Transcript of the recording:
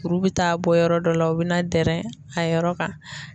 Kuru bi taa bɔ yɔrɔ dɔ la, o be na dɛrɛ a yɔrɔ kan